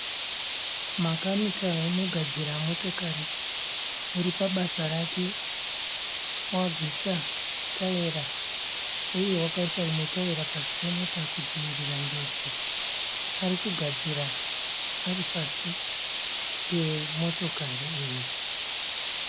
Makanika unogadzira motokari uri pabasa rake. Wabvisa tayera uye wakaisa rimwe tayera pasi pemota kudzivirira njodzi. Ari kugadzira ari pasi pemotokari iyi.